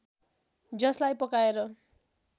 जसलाई पकाएर